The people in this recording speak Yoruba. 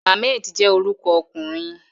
Ahmed je oruko okunrin